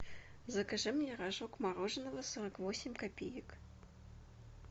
закажи мне рожок мороженого сорок восемь копеек